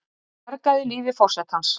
Bjargaði lífi forsetans